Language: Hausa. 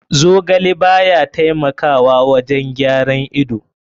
Zogale baya taimakawa wajen gyaran ido.